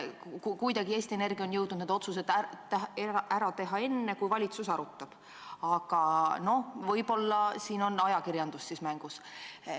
Kuidagi on Eesti Energia jõudnud nii kaugele, et need otsused ära teha enne, kui valitsus seda teemat arutab, aga võib-olla on siin ajakirjandus mängus.